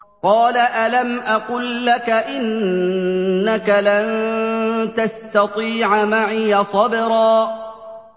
۞ قَالَ أَلَمْ أَقُل لَّكَ إِنَّكَ لَن تَسْتَطِيعَ مَعِيَ صَبْرًا